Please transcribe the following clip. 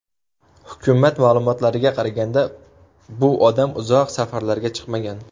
Hukumat ma’lumotlariga qaraganda, bu odam uzoq safarlarga chiqmagan.